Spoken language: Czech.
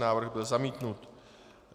Návrh byl zamítnut.